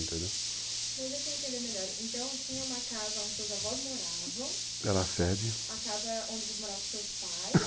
Entendeu? deixa eu entender melhor. Então tinha uma casa onde os seus avós moravam, que era a sede, a casa onde morava os seus pais...